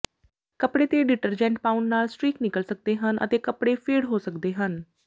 ਕੱਪੜੇ ਤੇ ਡਿਟਰਜੈਂਟ ਪਾਉਣ ਨਾਲ ਸਟ੍ਰੀਕ ਨਿਕਲ ਸਕਦੇ ਹਨ ਅਤੇ ਕੱਪੜੇ ਫੇਡ ਹੋ ਸਕਦੇ ਹਨ